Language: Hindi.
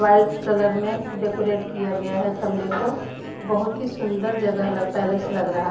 वाइट कलर में डेकोरेट किया गया हैं खंबे को बहुत ही सुंदर जगह ल पैलेस लग रहा हैं।